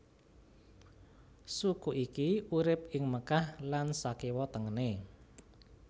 Suku iki urip ing Mekkah lan sakiwa tengene